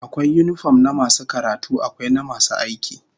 Akwai yinifom na masu karatu, akwai na masu aiki